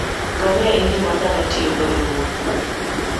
Ngamia en yo ma dhano tiyogo e wuoth.